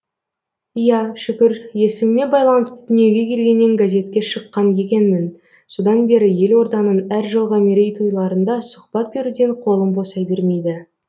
иә шүкір есіміме байланысты дүниеге келгеннен газетке шыққан екенмін содан бері елорданың әр жылғы мерейтойларында сұхбат беруден қолым босай бермейді